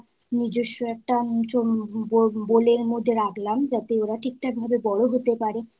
নিজস্ব একটা bowl এর মধ্যে রাখলাম যাতে ওরা ঠিক ঠাক ভাবে বড় হতে পারে।